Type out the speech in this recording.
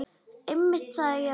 Einmitt það, já.